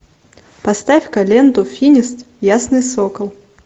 поставь ка ленту финист ясный сокол